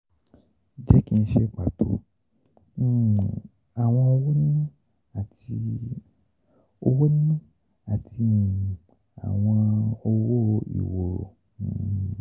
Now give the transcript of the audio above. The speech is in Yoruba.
Jẹ ki n ṣe pato: um awọn owo nina ati owo nina ati um awọn owo-iworo. um